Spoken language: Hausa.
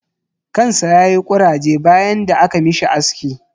kan sa yayi kuraje bayan da aka mishi aski.